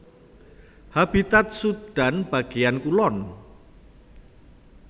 Habitat Sudan bagéyan kulon